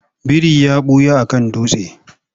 Biri ya ɓuya a kan dutse.